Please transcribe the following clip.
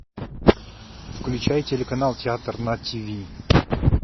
включай телеканал театр на тиви